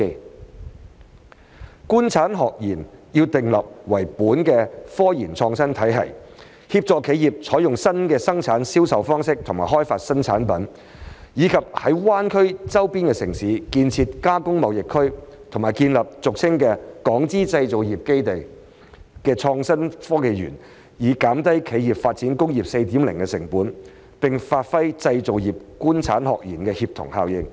訂立以"官產學研"為本的科研創新體系，協助企業採用新的生產銷售方式和開發新產品，以及在灣區周邊城市建設"加工貿易園區"和建立俗稱"港資製造業基地"的創新產業園區，以降低企業發展工業 4.0 的成本，並發揮製造業"官產學研"的協同效應。